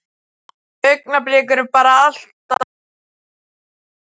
Þau augnablik eru bara allt of fá.